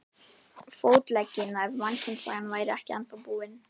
Fótleggina ef mannkynssagan væri ekki ennþá búin.